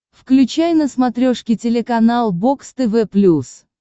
включай на смотрешке телеканал бокс тв плюс